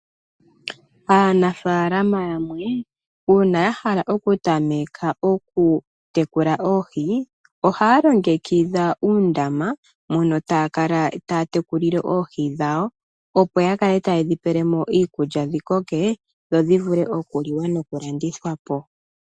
Aanafalama yamwe una ya hala oku tameka oku tekula oohi oha longekidha uundama mono taya kala taya tekulile oohi dhawo. Opo ya kale taye dhi pele mo iikulya dhi koke dhodhi vule oku liwa noku landithwa po.